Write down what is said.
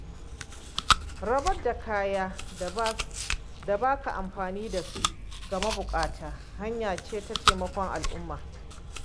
Rabar da kayan da ba ka amfani da su ga mabuƙata hanya ce ta taimakon al’umma.